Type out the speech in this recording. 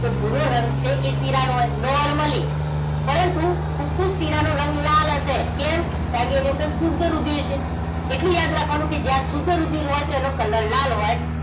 તો ભૂરો રંગ છે એ શિરા નો હોય normally પરંતુ ફુફુસ શિરા નો રંગ લાલ હશે કેમ કારણકે એની અંદર શુદ્ધ રુધિર છે એટલું યાદ રાખવાનું કે જ્યાં શુદ્ધ રુધિર હોય તો એનો colour લાલ હોય